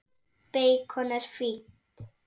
Beikon er fínt!